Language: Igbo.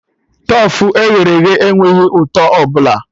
Tofu e ghere eghe enweghị ụtọ ọbụla